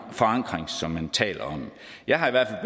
forankring som man taler om jeg har i hvert